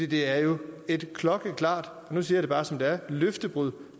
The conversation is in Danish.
det er jo et klokkeklart og nu siger jeg det bare som det er løftebrud